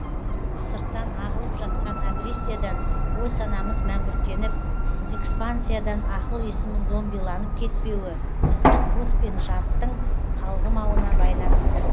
сырттан ағылып жатқан агрессиядан ой санамыз мәңгүрттеніп экспансиядан ақыл есіміз зомбиланып кетпеуі ұлттық рух пен жадтың қалғымауына байланысты